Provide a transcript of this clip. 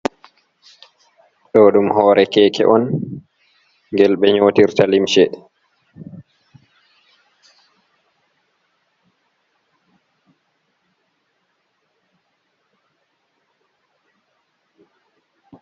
Ɗo ɗum hore keke on ngel ɓe nyotirta limshe.